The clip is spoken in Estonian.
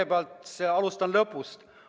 Ma alustan lõpust.